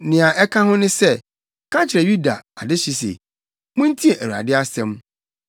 “Nea ɛka ho ne sɛ, ka kyerɛ Yuda adehye se, ‘Muntie Awurade asɛm;